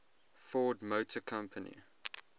ford motor company